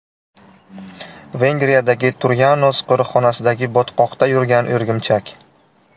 Vengriyadagi Turyanos qo‘riqxonasidagi botqoqda yurgan o‘rgimchak.